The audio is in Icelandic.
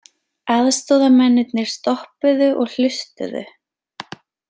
Aðstoðamennirnir stoppuðu og hlustuðu.